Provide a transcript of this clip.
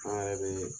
An yɛrɛ be